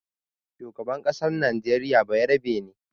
Shugaban ƙasar najeriya bayarabe ne.